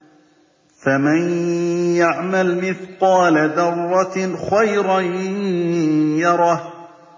فَمَن يَعْمَلْ مِثْقَالَ ذَرَّةٍ خَيْرًا يَرَهُ